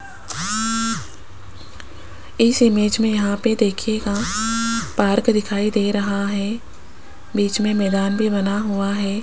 इस इमेज में यहां पे देखिएगा पार्क दिखाई दे रहा हैं बीच में मैदान भी बना हुआ हैं।